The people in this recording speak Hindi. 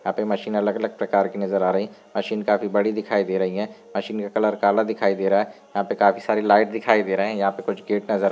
यहाँ पे मशीन अलग-अलग प्रकार की नजर आ रही मशीन काफी बड़ी दिखाई दे रही है। मशीन का कलर काला दिखाई दे रहा है। यहाँ पे काफी सारी लाइट दिखाई दे रहे है। यहाँ पे कुछ गेट नजर --